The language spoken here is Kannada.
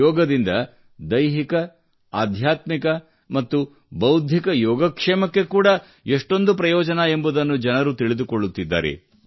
ಯೋಗದಿಂದ ದೈಹಿಕ ಆಧ್ಯಾತ್ಮಿಕ ಮತ್ತು ಭೌದ್ಧಿಕ ಯೋಗಕ್ಷೇಮಕ್ಕೆ ಕೂಡಾ ಎಷ್ಟೊಂದು ಪ್ರಯೋಜನ ಎಂಬುದನ್ನು ಜನರು ತಿಳಿದುಕೊಳ್ಳುತ್ತಿದ್ದಾರೆ